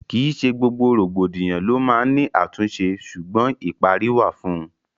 Kì í ṣe gbogbo rògbòdìyàn lo máa n ni àtúnṣe, sugbon ìparí wà fún ùn